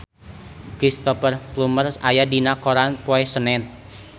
Cristhoper Plumer aya dina koran poe Senen